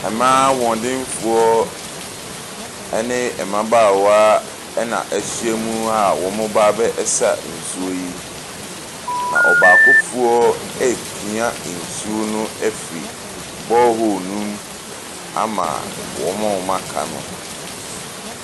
Ɛmaa ahoɔdenfoɔ ɛne ɛmabaawa ɛna ahyia mu a ɔmo ɛɛba abɛsa nsuo yi. Na ɔbaakofoɔ eepia nsuo no afri bɔɔhoo no mu ama ɔmo a wɔn aka no.